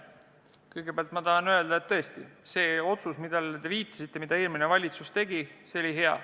Kõigepealt ma tahan öelda, et see eelmise valitsuse otsus, millele te viitasite, oli hea.